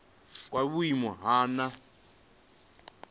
kwa vhuimo ha nha he